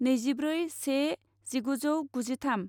नैजिब्रै से जिगुजौ गुजिथाम